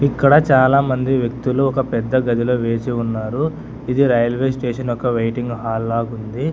ఇక్కడ చాలామంది వ్యక్తులు ఒక పెద్ద గదిలో వేసి ఉన్నారు ఇది రైల్వే స్టేషన్ ఒక వెయిటింగ్ హాల్ లాగా ఉంది.